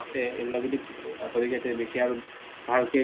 আছে এইবিলাক যদি বেছি আৰু ভালকে